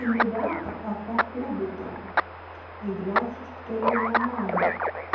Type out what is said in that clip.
ребята а походу то с двадцать второго мая